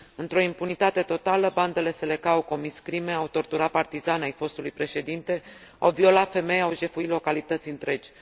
Într o impunitate totală, bandele Seleka au comis crime, au torturat partizani ai fostului președinte, au violat femei, au jefuit localități întregi.